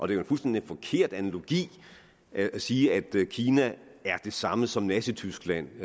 det er en fuldstændig forkert analogi at sige at kina er det samme som nazityskland